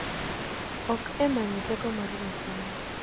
Ok e manyo teko mar Nyasaye.